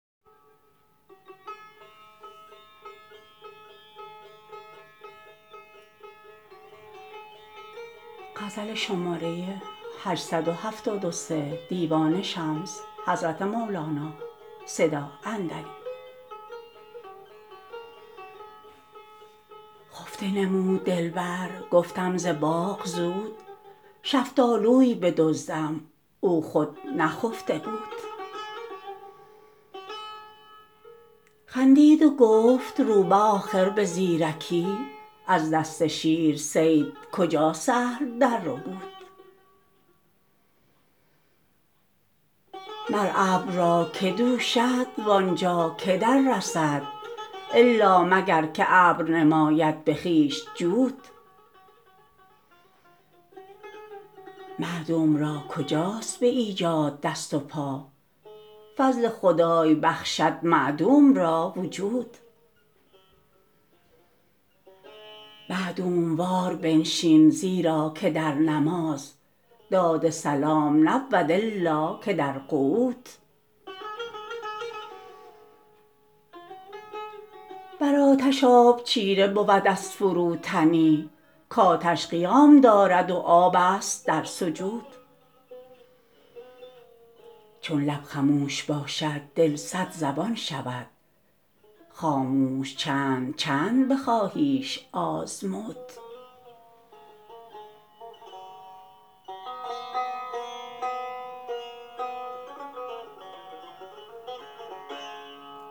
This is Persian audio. خفته نمود دلبر گفتم ز باغ زود شفتالوی بدزدم او خود نخفته بود خندید و گفت روبه آخر به زیرکی از دست شیر صید کجا سهل درربود مر ابر را که دوشد و آن جا که دررسد الا مگر که ابر نماید به خویش جود معدوم را کجاست به ایجاد دست و پا فضل خدای بخشد معدوم را وجود معدوم وار بنشین زیرا که در نماز داد سلام نبود الا که در قعود بر آتش آب چیره بود از فروتنی کآتش قیام دارد و آب است در سجود چون لب خموش باشد دل صدزبان شود خاموش چند چند بخواهیش آزمود